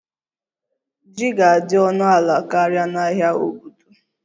Ji ga-adị ọnụ ala karịa na ahịa obodo